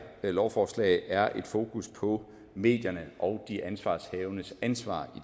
lovforslag er fokus på medierne og de ansvarshavendes ansvar